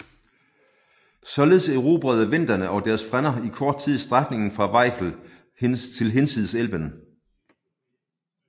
Således erobrede venderne og deres frænder i kort tid strækningen fra Weichsel til hinsides Elben